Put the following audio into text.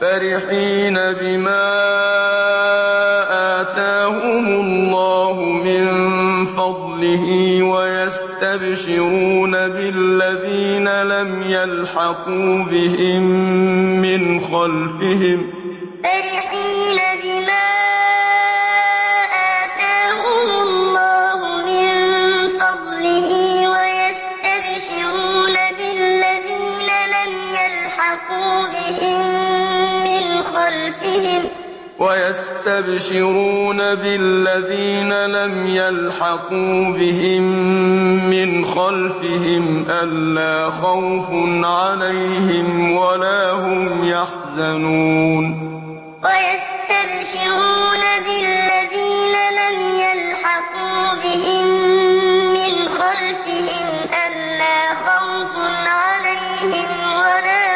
فَرِحِينَ بِمَا آتَاهُمُ اللَّهُ مِن فَضْلِهِ وَيَسْتَبْشِرُونَ بِالَّذِينَ لَمْ يَلْحَقُوا بِهِم مِّنْ خَلْفِهِمْ أَلَّا خَوْفٌ عَلَيْهِمْ وَلَا هُمْ يَحْزَنُونَ فَرِحِينَ بِمَا آتَاهُمُ اللَّهُ مِن فَضْلِهِ وَيَسْتَبْشِرُونَ بِالَّذِينَ لَمْ يَلْحَقُوا بِهِم مِّنْ خَلْفِهِمْ أَلَّا خَوْفٌ عَلَيْهِمْ وَلَا